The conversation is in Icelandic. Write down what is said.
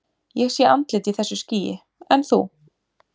Ég sé andlit í þessu skýi, en þú?